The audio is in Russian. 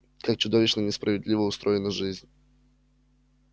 как чудовищно несправедливо устроена жизнь